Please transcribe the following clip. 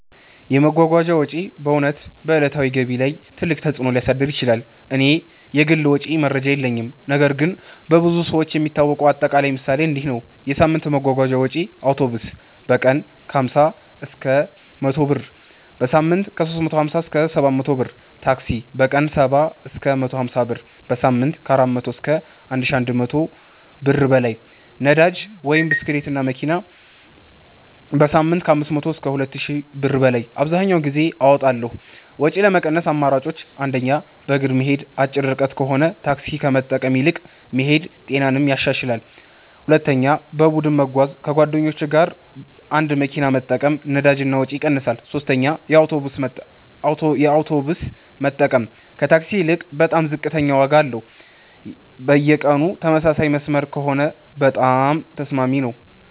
የመጓጓዣ ወጪ በእውነት በዕለታዊ ገቢ ላይ ትልቅ ተፅእኖ ሊያሳድር ይችላል። እኔ የግል ወጪ መረጃ የለኝም ነገር ግን በብዙ ሰዎች የሚታወቀው አጠቃላይ ምሳሌ እንዲህ ነው፦ የሳምንት የመጓጓዣ ወጪዬ አውቶቡስ: በቀን 50–100 ብር → በሳምንት 350–700 ብር ታክሲ: በቀን 70–150 ብር → በሳምንት 400–1100+ ብር ነዳጅ (ብስክሌት/መኪና): በሳምንት 500–2000+ ብር አብዘሀኛውን ጊዜ አወጣለሁ ወጪ ለመቀነስ አማራጮች 1. በእግር መሄድ አጭር ርቀት ከሆነ ታክሲ ከመጠቀም ይልቅ መሄድ ጤናንም ያሻሽላል 2. በቡድን መጓጓዣ ከጓደኞች ጋር አንድ መኪና መጠቀም ነዳጅ እና ወጪ ይቀንሳል 3 የአውቶቡስ መጠቀም ከታክሲ ይልቅ በጣም ዝቅተኛ ዋጋ አለው በየቀኑ ተመሳሳይ መስመር ከሆነ በጣም ተስማሚ ነው